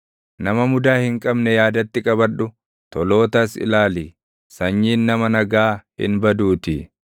Nama mudaa hin qabne yaadatti qabadhu; tolootas ilaali; sanyiin nama nagaa hin baduutii.